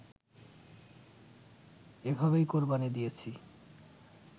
এভাবেই কোরবানি দিয়েছি